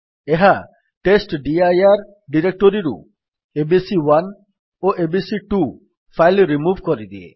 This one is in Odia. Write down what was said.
ଏହା ଟେଷ୍ଟଡିର ଡିରେକ୍ଟୋରୀରୁ ଏବିସି1 ଓ ଏବିସି2 ଫାଇଲ୍ ରିମୁଭ୍ କରିଦିଏ